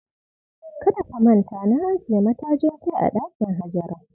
Kada ka manta, na ajiye matajin kai a dakin Hajara.